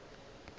a rereša ge a re